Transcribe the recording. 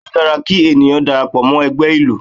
Bẹ́ẹ̀ ni, ó dára kí ènìyàn darapọ̀ mọ́ ẹgbẹ́ ìlú